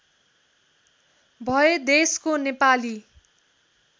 भए देशको नेपाली